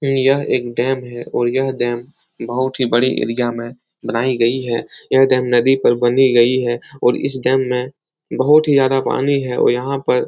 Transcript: यह एक डैम है और यह डैम बहुत ही बड़ी एरिया में बनाई गई है। यह डैम नदी पर बनी गई है और इस डैम में बहुत ही ज्यादा पानी है और यहाँ पर --